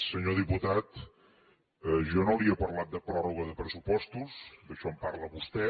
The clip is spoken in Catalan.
senyor diputat jo no li he parlat de pròrroga de pressupostos d’això en parla vostè